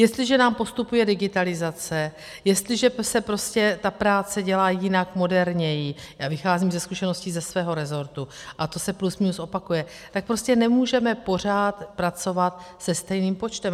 Jestliže nám postupuje digitalizace, jestliže se prostě ta práce dělá jinak, moderněji, já vycházím ze zkušeností ze svého rezortu a to se plus minus opakuje, tak prostě nemůžeme pořád pracovat se stejným počtem.